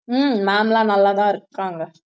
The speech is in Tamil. ஹம் ma'am லாம் நல்லாதான் இருக்காங்க